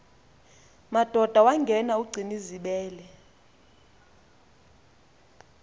madoda wangena ugcinizibele